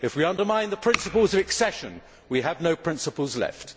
If we undermine the principles of accession, we have no principles left.